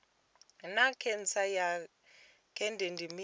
naa khentsa ya dzhende ndi mini